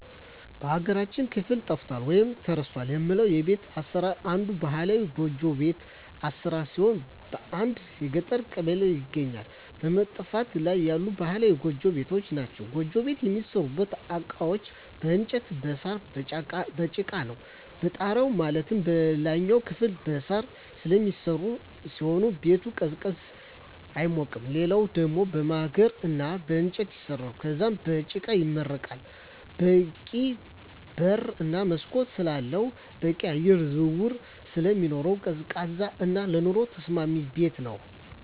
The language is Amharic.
በሀገራችን ክፍል ጠፍቷል ወይም ተረስቷል የምለው የቤት አሰራር አንዱ ባህላዊ ጎጆ ቤት አሰራር ሲሆን በአንዳንድ የገጠር ቀበሌዎች ይገኛሉ በመጥፋት ላይ ያሉ ባህላዊ ጎጆ ቤቶች ናቸዉ። ጎጆ ቤት የሚሠሩበት እቃዎች በእንጨት እና በሳር፣ በጭቃ ነው። የጣራው ማለትም የላይኛው ክፍል በሳር ስለሚሰራ ሲሆን ቤቱ ቀዝቃዛ ነው አይሞቅም ሌላኛው ደሞ በማገር እና በእንጨት ይሰራል ከዛም በጭቃ ይመረጋል በቂ በር እና መስኮት ስላለው በቂ የአየር ዝውውር ስለሚኖር ቀዝቃዛ እና ለኑሮ ተስማሚ ቤት ነው።